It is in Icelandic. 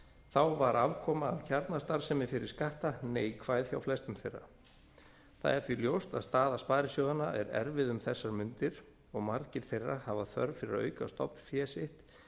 þá var afkoma af kjarnastarfsemi fyrir skatta neikvæð hjá flestum þeirra það er því ljóst að staða sparisjóðanna er erfið um þessar mundir og margir þeirra hafa þörf fyrir að auka stofnfé sitt